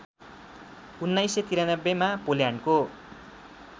१९९३ मा पोल्यान्डको